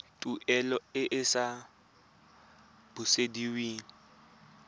tuelo e e sa busediweng